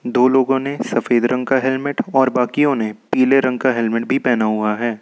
दो लोगों ने सफेद रंग का हेलमेट और बाकियों ने पीले रंग का हेलमेट भी पहना हुआ है।